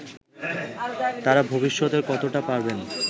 তারা ভবিষ্যতে কতোটা পাবেন